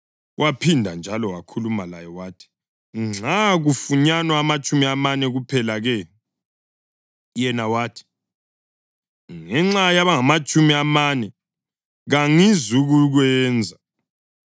Waphinda njalo wakhuluma laye wathi, “Nxa kufunyanwa amatshumi amane kuphela-ke?” Yena wathi, “Ngenxa yabangamatshumi amane kangizukukwenza.”